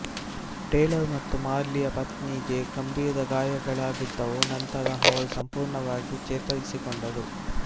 Taylor ಮತ್ತು ಮಾರ್ಲಿಯ ಪತ್ನಿಗೆ ಗಂಭೀರ ಗಾಯಗಳಾಗಿದ್ದವು ನಂತರ ಅವರು ಸಂಪೂರ್ಣವಾಗಿ ಚೇತರಿಸಿಕೊಂಡರು